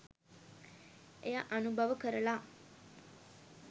එය අනුභව කරලා